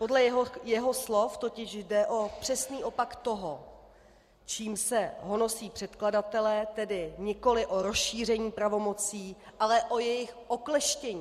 Podle jeho slov totiž jde o přesný opak toho, čím se honosí předkladatelé, tedy nikoliv o rozšíření pravomocí, ale o jejich okleštění.